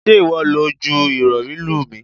Ṣé ìwọ lọ ju Ìrọ̀rí lù mí?